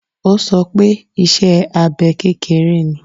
Ó sọ pé iṣẹ́ abẹ kékeré ni.